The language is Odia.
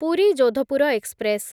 ପୁରୀ ଯୋଧପୁର ଏକ୍ସପ୍ରେସ୍